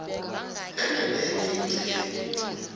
enye nenye ingcenye